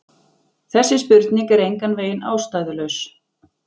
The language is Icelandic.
Þessi spurning er engan veginn ástæðulaus.